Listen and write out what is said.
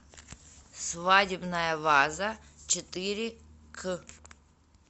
свадебная ваза четыре к